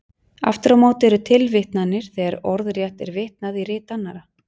Aftur á móti eru tilvitnanir þegar orðrétt er vitnað í rit annarra.